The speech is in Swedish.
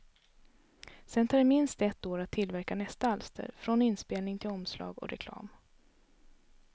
Sen tar det minst ett år att tillverka nästa alster, från inspelning till omslag och reklam.